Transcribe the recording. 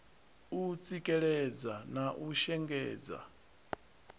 u tsikeledza na u shengedza